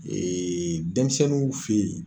denmisɛnninw fɛ yen.